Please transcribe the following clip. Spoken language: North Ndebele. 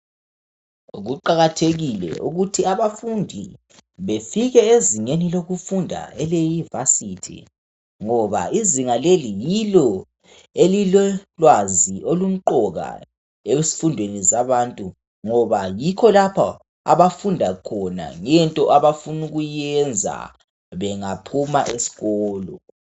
Kuqakathekile ukuthi abafundi befike ezingeni lokufunda elevasithi. Ngoba izinga leli yilo elilolwazi olumqoka ezifundweni zabantu, ngoba yikho lapho abafunda khona into abafuna ukuyenza bengaphuma esikolo.